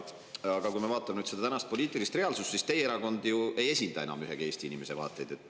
Aga kui ma vaatan nüüd seda tänast poliitilist reaalsust, siis teie erakond ju ei esinda enam mitte ühegi Eesti inimese vaateid.